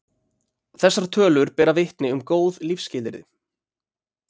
Þessar tölur bera vitni um góð lífsskilyrði.